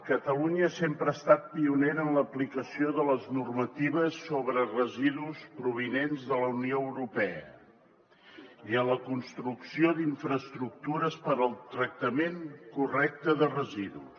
catalunya sempre ha estat pionera en l’aplicació de les normatives sobre residus provinents de la unió europea i en la construcció d’infraestructures per al tractament correcte de residus